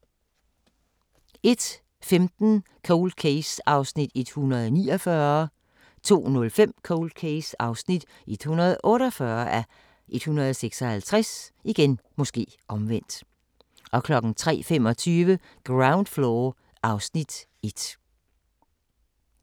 01:15: Cold Case (149:156) 02:05: Cold Case (148:156) 03:25: Ground Floor (Afs. 1)